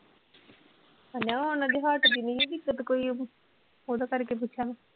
ਹਨਾ ਉਹਨਾਂ ਦੇ heart ਦੀ ਨੀ ਹੈ ਦਿੱਕਤ ਕੋਈ ਓਹਦੇ ਕਰਕੇ ਪੁੱਛਿਆ ਮੈਂ